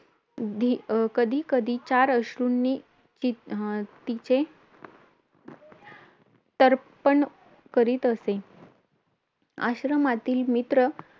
धी कधी कधी चार अश्रूंनी ति अं तिचे तर्पण करीत असे आश्रमातील मित्र